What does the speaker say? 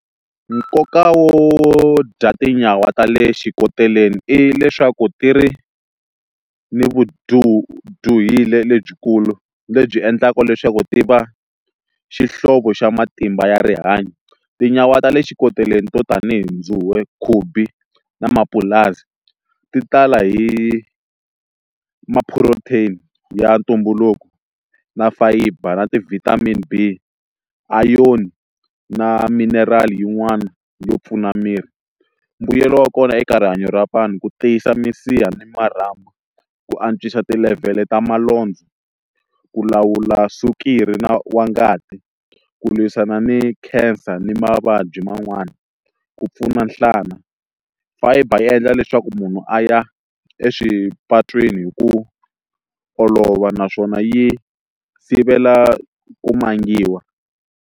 Nkoka wo dya tinyawa ta le xikoteleni i leswaku ti ri ni lebyikulu lebyi endlaka leswaku ti va xihlovo xa matimba ya rihanyo tinyawa ta le xikoteleni to tanihi khubi na mapulasi ti tala hi ma protein ya ntumbuluko na fayiba na ti vitamin B iron na mineral yin'wana yo pfuna miri mbuyelo wa kona eka rihanyo ra vanhu ku tiyisa misiha ni marhambu ku antswisa ti level ta ku lawula swikiri na wa ngati ku lwisana ni cancer ni mavabyi man'wana ku pfuna nhlana fiber yi endla leswaku munhu a ya eswipatwini hi ku olova naswona yi sivela ku mangiwa.